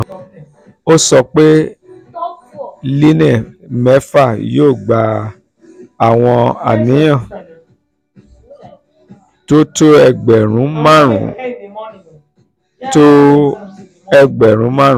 ó sọ pé line mefa yóò gba àwọn aríyá tó tó ẹgbẹ̀rún márùn-ún tó ẹgbẹ̀rún márùn-ún ( five hundred thousand ).